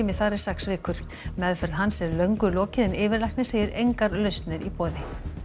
þar er sex vikur meðferð hans er löngu lokið en yfirlæknir segir engar lausnir í boði